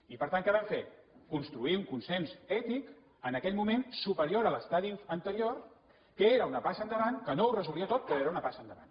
i per tant què vam fer construir un consens ètic en aquell moment superior a l’estadi anterior que era una passa endavant que no ho resolia tot però era una passa endavant